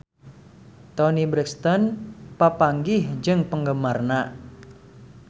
Toni Brexton papanggih jeung penggemarna